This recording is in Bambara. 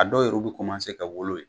A dɔw yɛrɛw bi kɔmanse ka wolo ye